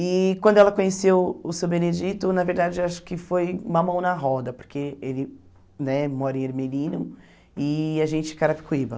E quando ela conheceu o Seu Benedito, na verdade, acho que foi uma mão na roda, porque ele né mora em Ermelino e a gente em Carapicuíba.